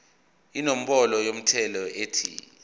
inombolo yomthelo ethi